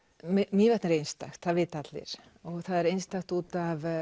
Mývatn er einstakt það vita allir og það er einstakt út